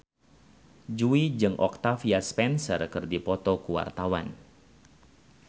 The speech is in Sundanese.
Jui jeung Octavia Spencer keur dipoto ku wartawan